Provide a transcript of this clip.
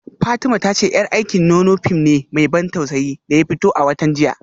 Fatima ta ce yar aikin nono fim ne mai ban tausayi da ya fito a watan jiya